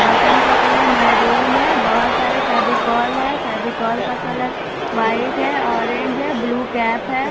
Button का colour maroon है बहुत सारे फेविकोल हैं फेविकोल का कलर व्हाइट है ऑरेंज है ब्लू कैप है।